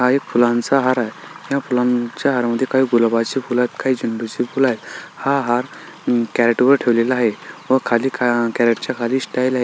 हा एक फुलाचा हार आहे या फुलाच्या हार मध्ये काही गुलाबाची फुल तर काही झेंडुची फुल आहेत हा हार अ कॅरेट वर ठेवलेला आहे व खाली क कॅरेटच्या खाली स्टाइल आहे.